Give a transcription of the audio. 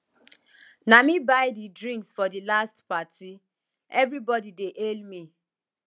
na me buy di drinks for di last party everybody dey hail me